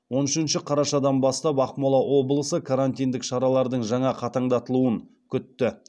он үшінші қарашадан бастап ақмола облысы карантиндік шаралардың жаңа қатаңдатылуын күтті